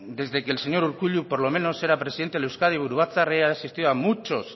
desde que el señor urkullu por lo menos era presidente el euzkadi buru batzar he asistido a muchos